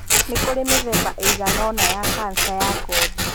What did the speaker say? Nĩ kũrĩ mĩthemba ĩigana ũna ya kanca ya ngothi.